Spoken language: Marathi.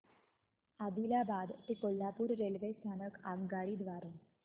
आदिलाबाद ते कोल्हापूर रेल्वे स्थानक आगगाडी द्वारे